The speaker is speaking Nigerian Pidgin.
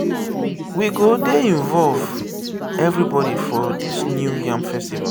we go dey involve everybody for dis new yam festival.